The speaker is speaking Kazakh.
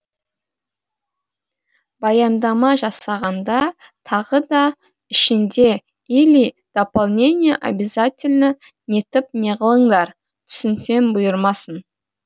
баяндама жасағанда тағы да ішінде или дополнение обязательно нетіп неғылыңдар түсінсем бұйырмасын